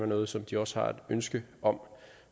noget som de også har et ønske om